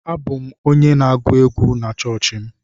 Abụ m onye na-agụ egwú na chọọchị m.